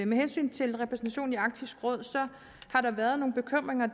med hensyn til repræsentationen i arktisk råd har der været nogle bekymringer